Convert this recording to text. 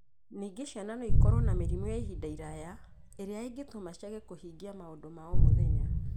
Ningĩ ciana no ikorũo na mĩrimũ ya ihinda iraya ĩrĩa ĩngĩtũma ciage kũhingia maũndũ ma o mũthenya.